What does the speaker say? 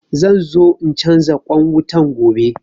Zanzo in canza ƙwan wutan gobe